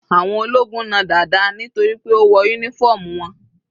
Àwọn ológun na Dada nítorí pé ó wọ uniform wọn.